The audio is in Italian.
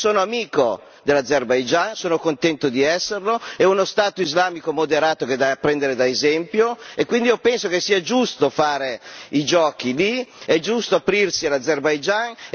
Io sono amico dell'Azerbaigian, sono contento di esserlo, è uno Stato islamico moderato che è da prendere da esempio e quindi io penso che sia giusto fare i giochi lì, è giusto aprirsi all'Azerbaigian.